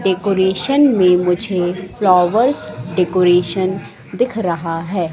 Decoration में मुझे flowers decoration दिख रहा है।